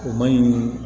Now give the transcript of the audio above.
O maɲi